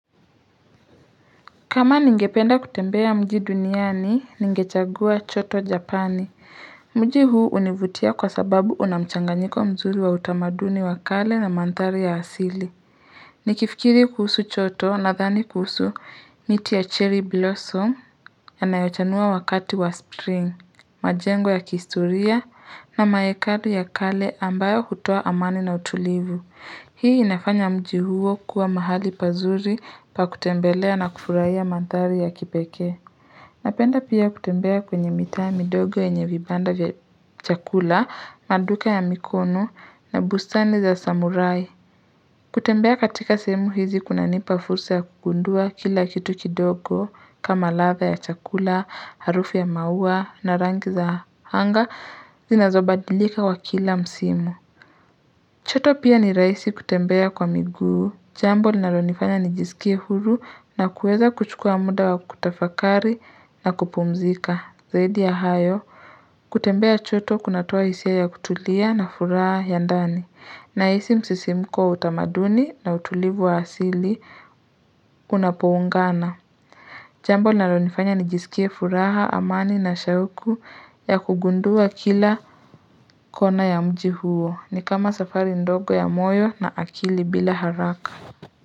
Kama ningependa kutembea mji duniani, ningechagua choto Japani. Mji huu univutia kwa sababu unamchanganyiko mzuri wa utamaduni wa kale na madhari ya asili. Ni kifikiri kuhusu choto nadhan kuhusu miti ya cherry blossom yanayochanua wakati wa spring, majengo ya kihistoria na maekadu ya kale ambayo hutoa amani na utulivu. Hii inafanya mji huo kua mahali pazuri pa kutembelea na kufurahia madhari ya kipeke. Napenda pia kutembea kwenye mitaa ya midogo yenye vibanda vya chakula, maduka ya mikono na bustani za samurai. Kutembea katika sehemu hizi kunanipa fursa ya kugundua kila kitu kidogo kama ladha ya chakula, harufu ya maua na rangi za anga zinazobadilika wa kila msimu. Choto pia ni rahisi kutembea kwa miguu, jambo linalo nijisikie huru na kuweza kuchukua muda wa kutafakari na kupumzika, zaidi ya hayo, kutembea choto kunatoa hisia ya kutulia na furaha ya ndani, na hisi msisimko utamaduni na utulivu wa asili unapoungana. Jambo linalonifanya nijisikie furaha, amani na shauku ya kugundua kila kona ya mji huo ni kama safari ndogo ya moyo na akili bila haraka.